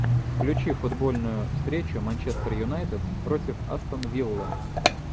включи футбольную встречу манчестер юнайтед против астон виллы